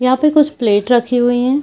यहां पर कुछ प्लेट रखे हुए हैं।